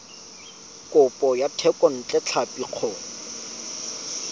kopo ya thekontle tlhapi go